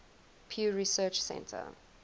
pew research center